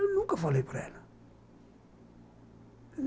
Eu nunca falei para ela.